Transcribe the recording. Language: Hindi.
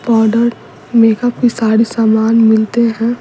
पाउडर मेकअप की सारी सामान मिलते हैं।